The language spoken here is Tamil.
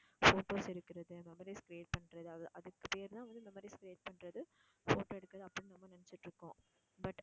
photos எடுக்குறது memories create பண்ணுறது அது அதுக்கு பேருதான் வந்து memories create பண்ணுறது photos எடுக்குறது அப்படின்னு நம்ம நினைச்சுட்டு இருக்கோம் but